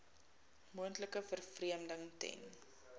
moontlike vervreemding ten